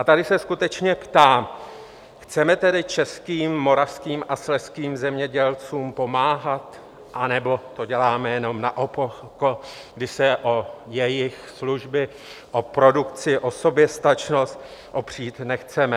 A tady se skutečně ptám: Chceme tedy českým, moravským a slezským zemědělcům pomáhat, anebo to děláme jenom naoko, když se o jejich služby, o produkci, o soběstačnost opřít nechceme?